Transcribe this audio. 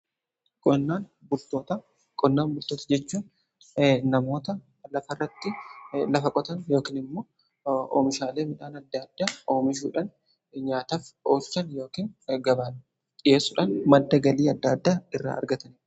Qonnaan bultoota jechuun namoota lafa irratti lafa qotan yookain immoo oomishaalee midhaan adda adda oomishuudhan nyaataf oolchan yookan gabaaf dhiyeessuudhaan. maddagalii adda adda irraa argatan